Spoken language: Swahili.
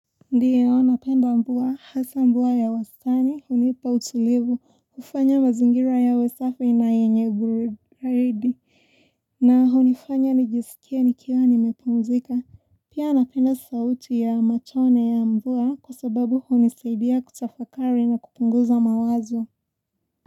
Ndio napenda mvua hasa mvua ya wastani hunipa utulivu ufanya mazingira yawe safi na yenye baridi na hunifanya nijisikia nikiawa nimepumzika pia napenda sauti ya machone ya mvua kwa sababu hunizaidia kutafakari na kupunguza mawazo.